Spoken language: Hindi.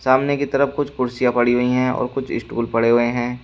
सामने की तरफ कुछ कुर्सियां पड़ी हुई हैं और कुछ स्टूल पड़े हुए हैं।